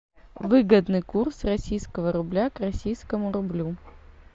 выгодный курс российского рубля к российскому рублю